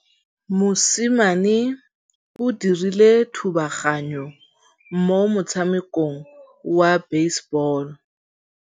Mosimane o dirile thubaganyô mo motshamekong wa basebôlô.